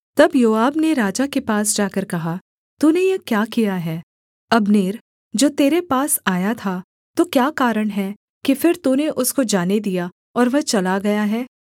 तब योआब ने राजा के पास जाकर कहा तूने यह क्या किया है अब्नेर जो तेरे पास आया था तो क्या कारण है कि फिर तूने उसको जाने दिया और वह चला गया है